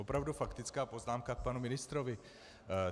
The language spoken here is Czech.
Opravdu faktická poznámka k panu ministrovi.